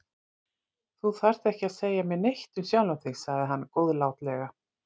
Þú þarft ekki að segja mér neitt um sjálfan þig sagði hann góðlátlega.